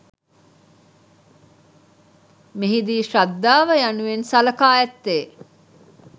මෙහි දී ශ්‍රද්ධාව යනුවෙන් සලකා ඇත්තේ